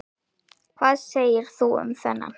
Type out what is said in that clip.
Hvað segir þú um þennan?